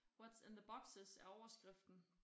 What's in the boxes er overskriften